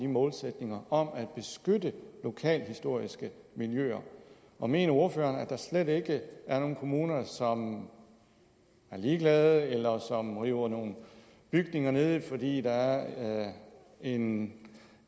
målsætningerne om at beskytte lokalhistoriske miljøer og mener ordføreren at der slet ikke er nogen kommuner som er ligeglade eller som river nogle bygninger ned fordi der er en